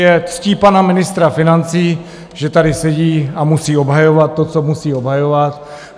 Je ctí pana ministra financí, že tady sedí a musí obhajovat to, co musí obhajovat.